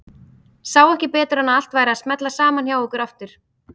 Sá ekki betur en að allt væri að smella saman hjá ykkur aftur.